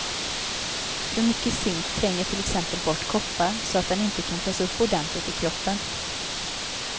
För mycket zink tränger till exempel bort koppar, så att den inte kan tas upp ordentligt i kroppen.